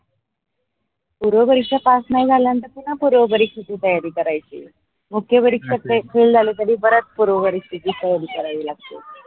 पूर्व परीक्षा पास नाही झालंत पुन्हा पूर्व परीक्षा ची तयारी करायेची. मुख्य परीक्षेत fail झालो तरी परत पूर्व परीक्षेची तयारी करावी लागते.